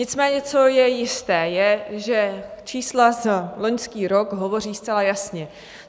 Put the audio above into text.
Nicméně co je jisté je, že čísla za loňský rok hovoří zcela jasně.